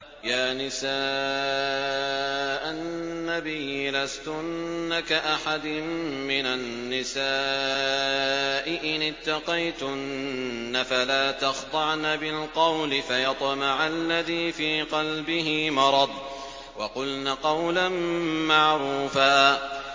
يَا نِسَاءَ النَّبِيِّ لَسْتُنَّ كَأَحَدٍ مِّنَ النِّسَاءِ ۚ إِنِ اتَّقَيْتُنَّ فَلَا تَخْضَعْنَ بِالْقَوْلِ فَيَطْمَعَ الَّذِي فِي قَلْبِهِ مَرَضٌ وَقُلْنَ قَوْلًا مَّعْرُوفًا